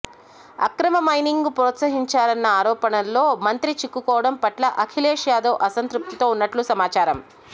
అక్రమ మైనింగ్ను ప్రోత్సహించారన్న ఆరోపణల్లో మంత్రి చిక్కుకోవడం పట్ల అఖిలేష్ యాదవ్ అసంతృప్తితో ఉన్నట్లు సమాచారం